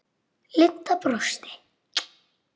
Linda brosti.